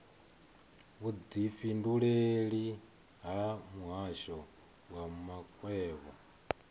vhudifhinduleleli ha muhasho wa makwevho